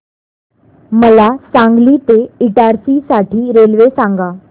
मला सांगली ते इटारसी साठी रेल्वे सांगा